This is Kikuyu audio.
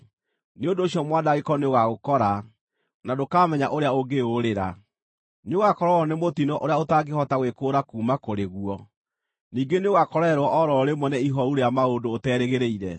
Nĩ ũndũ ũcio mwanangĩko nĩũgagũkora, na ndũkaamenya ũrĩa ũngĩũũrĩra. Nĩũgakorererwo nĩ mũtino ũrĩa ũtangĩhota gwĩkũũra kuuma kũrĩ guo; ningĩ nĩũgakorererwo o ro rĩmwe nĩ ihooru rĩa maũndũ ũterĩgĩrĩire.